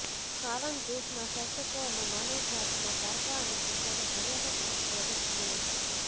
કારણ દેશના શાસકો અને માનવજાતમાં પારકા અને પોતાનો ભયાનક રોગ પ્રવેશી ગયો છે